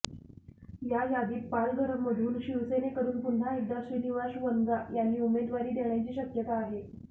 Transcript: या यादीत पालघरमधून शिवसेनेकडून पुन्हा एकदा श्रीनिवास वनगा यांनी उमेदवारी देण्याची शक्यता आहे